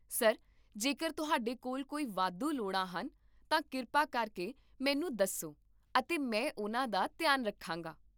sir, ਜੇਕਰ ਤੁਹਾਡੇ ਕੋਲ ਕੋਈ ਵਾਧੂ ਲੋੜਾਂ ਹਨ, ਤਾਂ ਕਿਰਪਾ ਕਰਕੇ ਮੈਨੂੰ ਦੱਸੋ ਅਤੇ ਮੈਂ ਉਹਨਾਂ ਦਾ ਧਿਆਨ ਰੱਖਾਂਗਾ